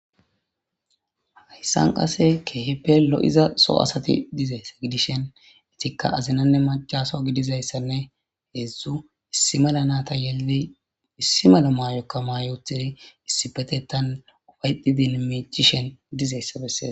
Hayssan qassi keehippe lo7iza so asathi dizaysa gidishin ethikka maccaso azina gidizayssanne heezzu issi mala naatha yelidi issi mala maayokka maayi uththdi issippetheththan ufayththidinne miiccishen dizayssa bessees.